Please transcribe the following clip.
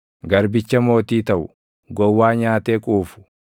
Garbicha mootii taʼu, gowwaa nyaatee quufu,